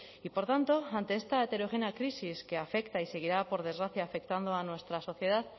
y por tanto ante esta heterogénea crisis que afecta y seguirá por desgracia afectando a nuestra sociedad